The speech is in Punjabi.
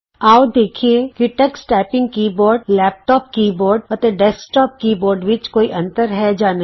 ਆਉ ਦੇਖੀਏ ਕਿ Tux typing keyboard laptop keyboard ਅਤੇ ਡੈਸਕਟੋਪ ਕੀ ਬੋਰਡ ਵਿਚ ਕੋਈ ਅੰਤਰ ਹੈ ਜਾਂ ਨਹੀਂ